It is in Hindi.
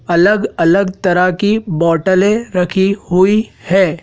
अलग अलग तरह की बोटलें रखी हुई है।